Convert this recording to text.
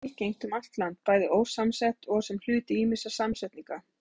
Orðið er algengt um allt land, bæði ósamsett og sem hluti ýmissa samsetninga.